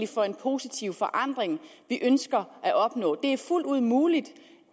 for en positiv forandring vi ønsker at opnå det er fuldt ud muligt